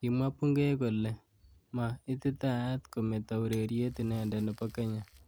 Kimwa Bungei kole ma ititaat kometo ureriet inendet nebo Kenya.